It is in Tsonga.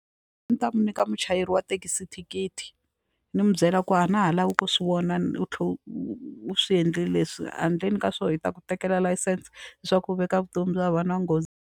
Ta mi nyika muchayeri wa thekisi thikithi ni n'wi byela ku a na ha lavi ku swi vona ni u tlhela u swi endlile leswi handleni ka swona hi ta ku tekela layisense leswaku u veka vutomi bya vanhu .